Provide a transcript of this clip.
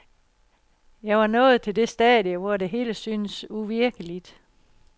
Jeg var nået til det stadie, hvor det hele syntes uvirkeligt.